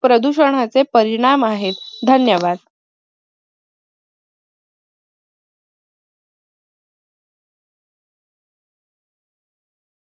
प्रदूषणाचे परिणाम आहेत. धन्यवाद